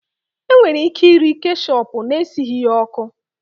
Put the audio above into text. E nwere ike iri keshepu na-esighi ya ọkụ